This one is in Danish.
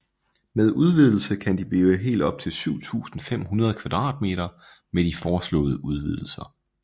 Med udvidelse kan de blive helt op til 7500 m² med de foreslåede udvidelser